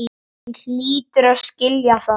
Hann hlýtur að skilja það.